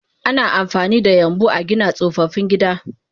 Ana amfanida yambu agina tsofaffin gida